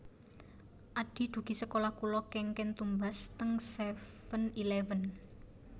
Adhi dugi sekolah kula kengken tumbas teng seven eleven